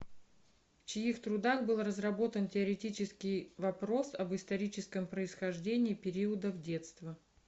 в чьих трудах был разработан теоретически вопрос об историческом происхождении периодов детства